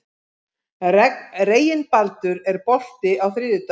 Reginbaldur, er bolti á þriðjudaginn?